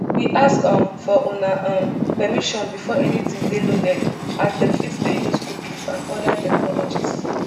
we ask um for una um permission before anytin dey loaded as dem fit dey use cookies and oda technologies